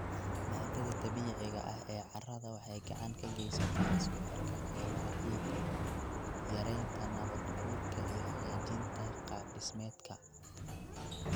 Maaddada dabiiciga ah ee carrada waxay gacan ka geysataa isku xidhka qaybaha ciidda, yaraynta nabaad guurka iyo hagaajinta qaabdhismeedka.